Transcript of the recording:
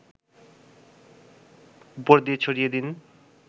উপর দিয়ে ছড়িয়ে দিন